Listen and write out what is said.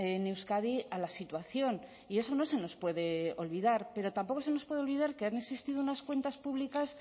en euskadi a la situación y eso no se nos puede olvidar pero tampoco se nos puede olvidar que han existido unas cuentas públicas